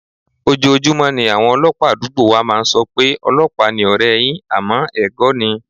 Ojoojúmọ́ ni àwọn ọlọ́pàá àdúgbò wa máa ń sọ pé, "ọlọ́pàá ni ọ̀rẹ́ẹ yín", àmọ́ ẹ̀gọ́ ni.